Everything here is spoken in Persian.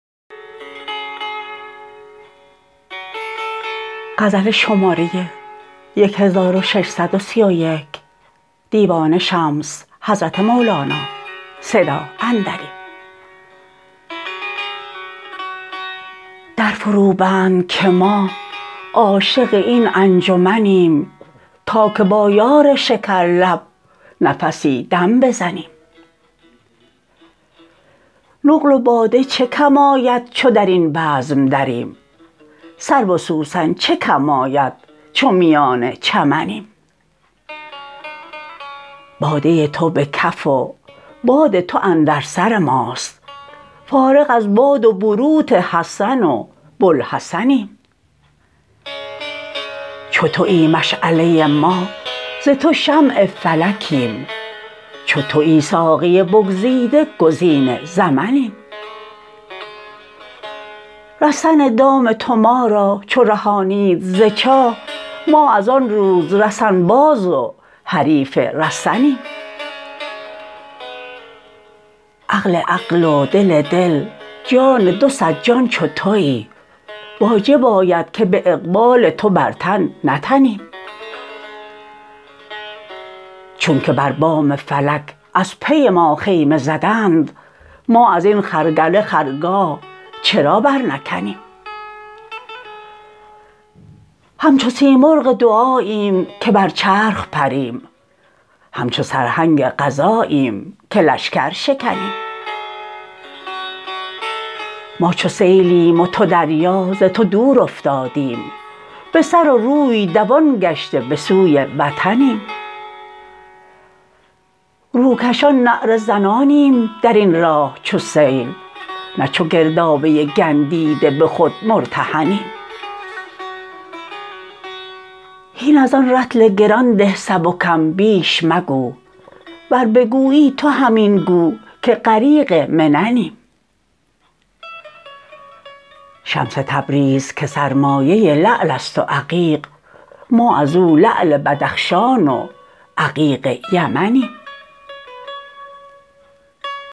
در فروبند که ما عاشق این انجمنیم تا که با یار شکرلب نفسی دم بزنیم نقل و باده چه کم آید چو در این بزم دریم سرو و سوسن چه کم آید چو میان چمنیم باده تو به کف و باد تو اندر سر ماست فارغ از باد و بروت حسن و بوالحسنیم چو توی مشعله ما ز تو شمع فلکیم چو توی ساقی بگزیده گزین زمنیم رسن دام تو ما را چو رهانید ز چاه ما از آن روز رسن باز و حریف رسنیم عقل عقل و دل دل جان دو صد جان چو توی واجب آید که به اقبال تو بر تن نتنیم چونک بر بام فلک از پی ما خیمه زدند ما از این خرگله خرگاه چرا برنکنیم همچو سیمرغ دعاییم که بر چرخ پریم همچو سرهنگ قضاییم که لشکر شکنیم ما چو سیلیم و تو دریا ز تو دور افتادیم به سر و روی دوان گشته به سوی وطنیم روکشان نعره زنانیم در این راه چو سیل نه چو گردابه گندیده به خود مرتهنیم هین از آن رطل گران ده سبکم بیش مگو ور بگویی تو همین گو که غریق مننیم شمس تبریز که سرمایه لعل است و عقیق ما از او لعل بدخشان و عقیق یمنیم